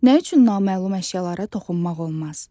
Nə üçün naməlum əşyalara toxunmaq olmaz?